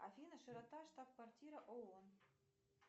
афина широта штаб квартира оон